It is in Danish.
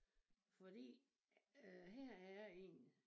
Fordi øh her er en